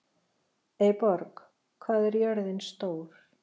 Eyborg, hvað er jörðin stór?